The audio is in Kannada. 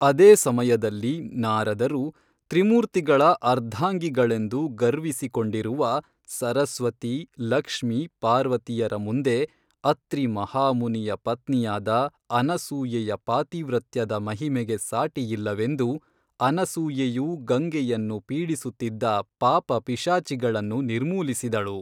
ಅದೇ ಸಮಯದಲ್ಲಿ ನಾರದರು ತ್ರಿಮೂರ್ತಿಗಳ ಅರ್ಧಾಂಗಿಗಳೆಂದು ಗರ್ವಿಸಿ ಕೊಂಡಿರುವ ಸರಸ್ವತಿ ಲಕ್ಷ್ಮಿ ಪಾರ್ವತಿಯರ ಮುಂದೆ ಅತ್ರಿ ಮಹಾ ಮುನಿಯ ಪತ್ನಿಯಾದ ಅನಸೂಯೆಯ ಪಾತಿವ್ರತ್ಯದ ಮಹಿಮೆಗೆ ಸಾಟಿಯಿಲ್ಲವೆಂದು ಅನಸೂಯೆಯು ಗಂಗೆಯನ್ನು ಪೀಡಿಸುತ್ತಿದ್ದ ಪಾಪ ಪಿಶಾಚಿಗಳನ್ನು ನಿರ್ಮೂಲಿಸಿದಳು